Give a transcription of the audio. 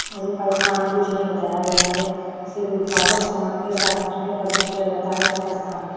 गुरु का स्थान पूजनीय बताया गया है जिसे गुरु को आदर सम्मान के साथ घर में प्रवेश किया जाता है तथा स्थान --